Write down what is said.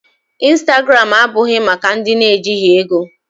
Instagram abụghị maka ndị ejighị ego.